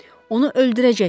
Onu öldürəcəksiz,